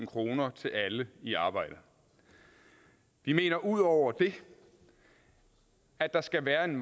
kroner til alle i arbejde vi mener ud over det at der skal være en